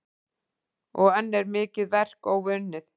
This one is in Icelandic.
Og enn er mikið verk óunnið.